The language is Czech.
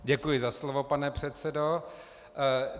Děkuji za slovo, pane předsedo.